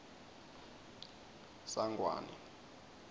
sangwane